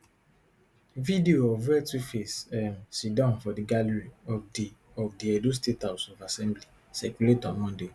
video of wia tuface um siddon for di gallery of di of di edo state house of assembly circulate on monday